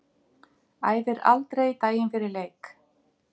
Æfir aldrei daginn fyrir leik.